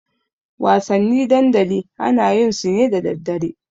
Wasanni dandali ana yin su ne da daddare.